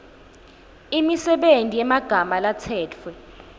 imisebenti yemagama latsetfwe